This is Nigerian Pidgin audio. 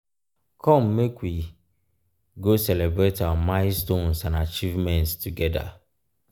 come make we go celebrate our milestones and achievements together.